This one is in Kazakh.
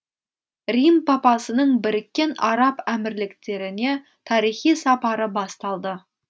рим папасының біріккен араб әмірліктеріне тарихи сапары басталды